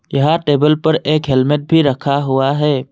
यहां टेबल पर एक हेलमेट भी रखा हुआ है।